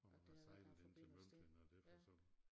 Og man har sejlet ind til Møgeltønder og derfor så